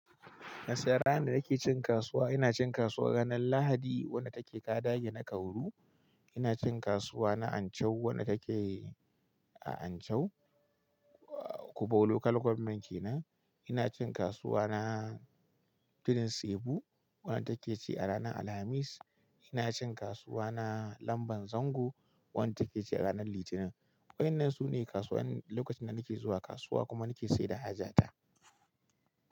Gaskiya ranar da nake cin kasuwa. Ina cin kasuwa ranar Lahadi wadda take Kadage na Kauru. Ina cin kasuwa na Anchau wadda take a Anchau, uh, Kubau Local Gwammen kenan. Ina cin kasuwa na Tudun sebu wadda take ci a ranar Alhamis. Ina cin kasuwa na Lamban Zango wadda take ci a ranar Litinin. Wa'annan su ne kasuwanin lokacin da nake zuwa kasuwa kuma nake saida haja ta.